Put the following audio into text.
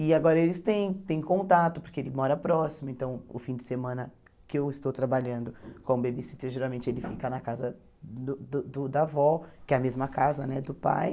E agora eles têm têm contato, porque ele mora próximo, então o fim de semana que eu estou trabalhando como babysitter, geralmente ele fica na casa do do do da vó, que é a mesma casa né do pai.